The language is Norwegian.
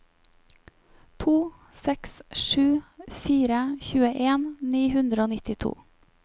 to seks sju fire tjueen ni hundre og nittito